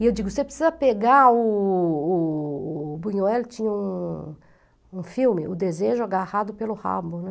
E eu digo, você precisa pegar o o o... O Buñuel tinha um um filme, O Desejo Agarrado pelo Rabo, né?